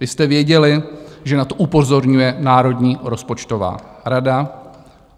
Vy jste věděli, že na to upozorňuje Národní rozpočtová rada.